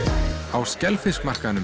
á